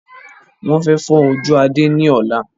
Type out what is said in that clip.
Wọn fẹ fọ́ ojú Adé ni ọ̀la